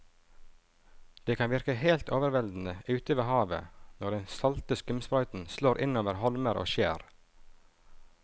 Det kan virke helt overveldende ute ved havet når den salte skumsprøyten slår innover holmer og skjær.